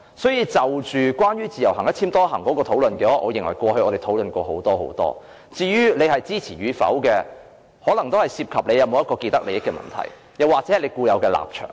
所以，關於自由行"一簽多行"的討論，我認為過去我們已經討論過很多次，至於支持與否，可能涉及是否存在既得利益的問題，又或是關乎固有的立場。